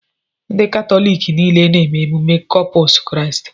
Ndị Katọlik niile na-eme ememme Kọpụs Kristi.